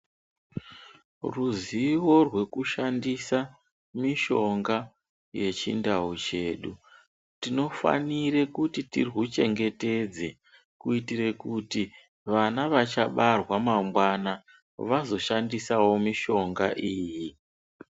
Ruzivo rwekushandisa mishonga yechindau chedu, tinofanire kuti tirwuchengetedze. Kuitire kuti vana vachabarwa mangwana vazoshandisavo mishonga iyi.